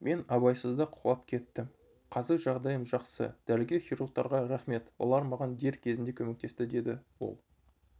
мен абайсызда құлап кеттім қазіржағдайым жақсы дәрігер-хирургтарға рақмет олар маған дер кезінде көмектесті деді ол